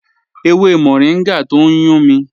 Ẹ̀wẹ̀ mọ̀ríngà tó n yùn mí